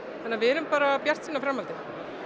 þannig að við erum bara bjartsýn á framhaldið